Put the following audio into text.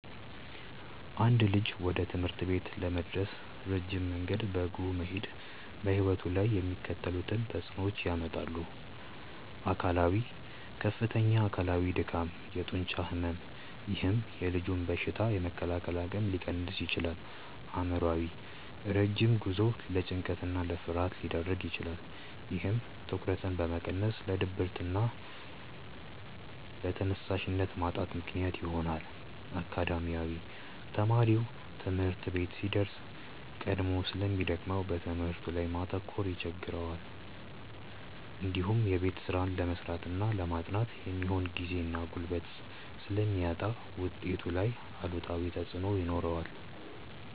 አንድ ልጅ ወደ ትምህርት ቤት ለመድረስ ረጅም መንገድ በእግሩ መሄዱ በሕይወቱ ላይ የሚከተሉትን ተጽዕኖዎች ያመጣል፦ አካላዊ፦ ከፍተኛ አካላዊ ድካም፣ የጡንቻ ሕመም፥፥ ይህም የልጁን በሽታ የመከላከል አቅም ሊቀንስ ይችላል። አእምሯዊ፦ ረጅም ጉዞው ለጭንቀትና ለፍርሃት ሊዳርግ ይችላል። ይህም ትኩረትን በመቀነስ ለድብርትና ለተነሳሽነት ማጣት ምክንያት ይሆናል። አካዳሚያዊ፦ ተማሪው ትምህርት ቤት ሲደርስ ቀድሞ ስለሚደክመው በትምህርቱ ላይ ማተኮር ይቸገራል። እንዲሁም የቤት ስራ ለመስራትና ለማጥናት የሚሆን ጊዜና ጉልበት ስለሚያጣ ውጤቱ ላይ አሉታዊ ተጽዕኖ ይኖረዋል።